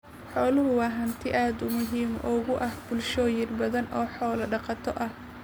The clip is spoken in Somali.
Xooluhu waa hanti aad muhiim ugu ah bulshooyin badan oo xoolo dhaqato ah.